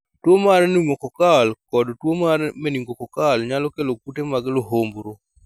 tuwo mar pneumococcal kod tuwo mar meningococcal nyalo kelo kute mag luhumbru